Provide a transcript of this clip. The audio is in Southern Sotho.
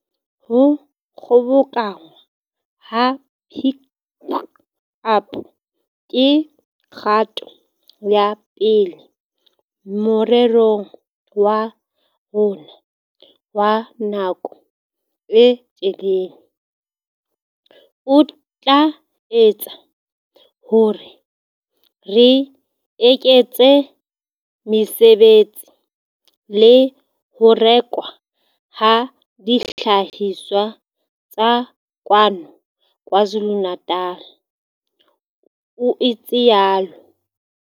"Ho kgobokanngwa ha Pik Up ke kgato ya pele morerong wa rona wa nako e telele, o tla etsa hore re eketse mesebetsi le ho rekwa ha dihlahiswa tsa kwano KwaZulu-Natal," o itsalo.